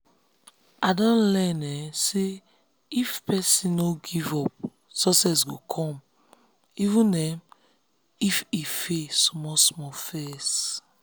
i don learn um say if person no give give up success go come even um if e fail small-small first.